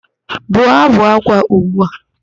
Bụọ ábụ̀ ákwá ugbu a!